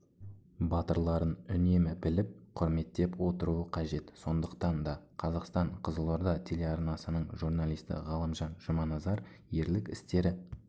батырларын үнемі біліп құрметтеп отыруы қажет сондықтан да қазақстан-қызылорда телеарнасының журналисті ғалымжан жұманазар ерлік істері